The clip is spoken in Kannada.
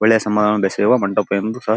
ಒಳ್ಳೆ ಸಂಬಂಧವನ್ನು ಬೆಸೆಯುವ ಮಂಟಪ ಎಂದು ಸಹ --